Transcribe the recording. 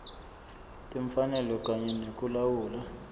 timfanelo kanye nekulawula